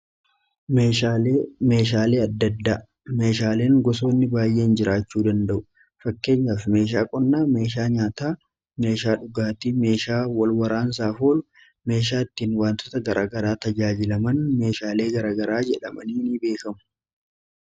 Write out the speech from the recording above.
hmeeshaalee addaddaa meeshaaleen gosoonni baay'eein jiraachuu danda'u fakkeenyaafi meeshaa qonnaa meeshaa nyaataa meeshaa dhugaatii meeshaa walwaraansaa fool meeshaa ittiin wantoota garagaraa tajaajilaman meeshaalee garagaraa jedhamanii n beekamu